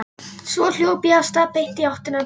Svo hljóp ég af stað beint í áttina til